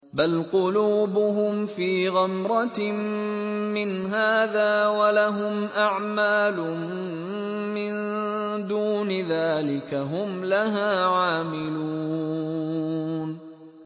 بَلْ قُلُوبُهُمْ فِي غَمْرَةٍ مِّنْ هَٰذَا وَلَهُمْ أَعْمَالٌ مِّن دُونِ ذَٰلِكَ هُمْ لَهَا عَامِلُونَ